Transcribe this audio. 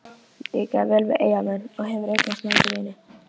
Líkar þér vel við Eyjamenn og hefurðu eignast marga vini?